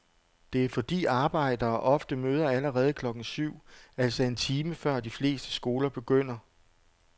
Det er fordi arbejdere ofte møder allerede klokken syv, altså en time før de fleste skoler begynder.